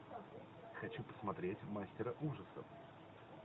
хочу посмотреть мастера ужасов